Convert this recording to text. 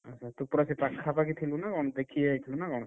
ଓହୋ ତୁ ପରା ସେଇ ପାଖାପାଖି ଥିଲୁ ନା କଣ ଦେଖିଆଇଥିଲୁ ନା କଣ?